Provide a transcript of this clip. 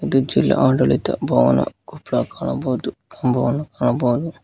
ಇದು ಜಿಲ್ಲಾ ಆಡಳಿತ ಭವನ ಕೊಪ್ಪಳ ಕಾಣಬಹುದು ಕಂಬವನ್ನು ಕಾಣಬಹುದು.